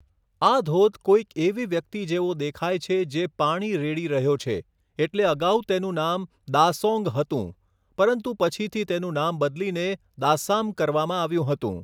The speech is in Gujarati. આ ધોધ કોઈક એવી વ્યક્તિ જેવો દેખાય છે જે પાણી રેડી રહ્યો છે એટલે અગાઉ તેનું નામ 'દાઃસોન્ગ' હતું પરંતુ પછીથી તેનું નામ બદલીને 'દાસ્સામ' કરવામાં આવ્યું હતું.